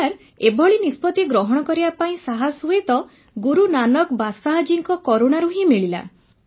sir ଏଭଳି ନିଷ୍ପତି ଗ୍ରହଣ କରିବା ପାଇଁ ସାହସ ହୁଏତ ଗୁରୁ ନାନକ ବାଦଶାହ୍ ଜୀଙ୍କ କରୁଣାରୁ ହିଁ ମିଳିଲା